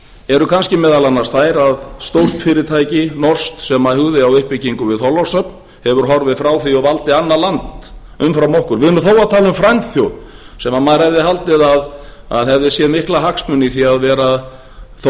eru kannski meðal annars þær að stórt fyrirtæki norskt sem hugði á uppbyggingu við þorlákshöfn hefur horfið frá því og valdi annað land umfram okkur við erum þó að tala um frændþjóð sem maður hefði haldið að hefði séð mikla hagsmuni í því að vera þó